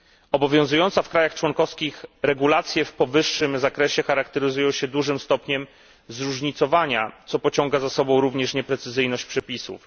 Obowiązujące w krajach członkowskich regulacje w powyższym zakresie charakteryzują się dużym stopniem zróżnicowania, co pociąga za sobą również nieprecyzyjność przepisów.